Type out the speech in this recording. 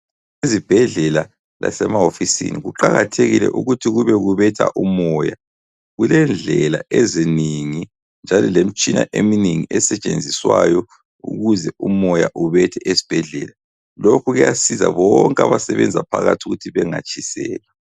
Ezibhedlela lasemahofisini kuqakathekile ukuthi kube kubetha umoya kulendlela eziningi njalo lemitshina eminingi esetshenziswayo ukuze umoya ubethe esibhedlela. Lokhu kuyasiza bonke abasebenza phakathi ukuthi bengatshiselwa.